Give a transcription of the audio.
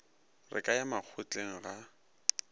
re ke ya makgotleng ga